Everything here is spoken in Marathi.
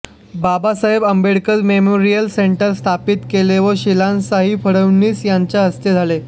बाबासाहेब आंबेडकर मेमोरियल सेंटर स्थापित केले व शिलान्यासही फडणवीस यांच्या हस्ते झाला